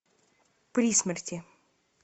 при смерти